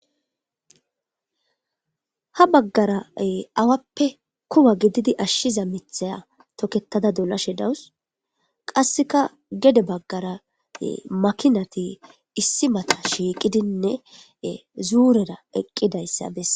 ha baggara awappe kuwa gididi ashshiza mithaya toketada dolashe dawus, qasseka gede baggara makinati issi mata shiiqidinne zuurera eqqidayssa besse